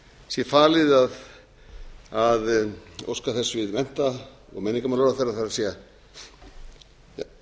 sé falið að óska þess við mennta og menningarmálaráðherra það er